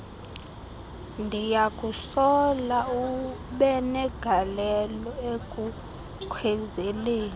ndiyakusola ubenegalelo ekukhwezeleni